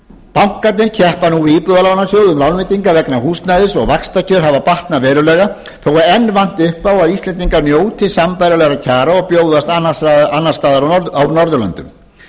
bankarnir keppa nú við íbúðalánasjóð um lánveitingar vegna húsnæðis og vaxtakjör hafa batnað verulega þó að enn vanti upp á að íslendingar njóti sambærilegra kjara og bjóðast annars staðar á norðurlöndum